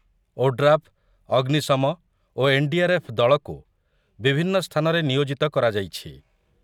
ODRAF, ଅଗ୍ନିଶମ ଓ NDRF. ଦଳକୁ ବିଭିନ୍ନ ସ୍ଥାନରେ ନିୟୋଜିତ କରାଯାଇଛି ।